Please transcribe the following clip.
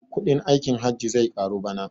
Kuɗin aikin hajji zai karu bana